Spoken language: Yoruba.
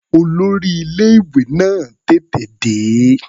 Olórí ilé-ìwé náà tètè dé.